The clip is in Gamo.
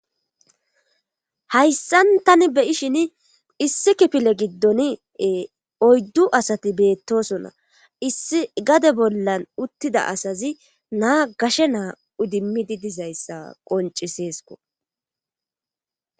Hayssan tani beyishshin issi kifile giddone oyddu asati beettosona issi gade bollan uttida asazi naa gashshe naa idimmidi dizayssa qonciseesko